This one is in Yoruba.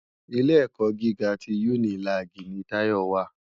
Ilé èkò gigá ti unilági ni Tayo wá